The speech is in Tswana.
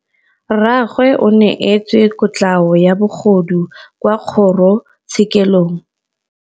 Rragwe o neetswe kotlhaô ya bogodu kwa kgoro tshêkêlông.